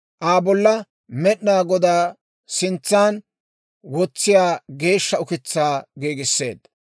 Aa bolla Med'inaa Godaa sintsan wotsiyaa geeshsha ukitsaa giigisseedda.